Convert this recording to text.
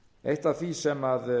eitt af því sem